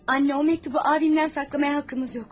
Anne, o məktubu abimdən saxlamaya haqqımız yox.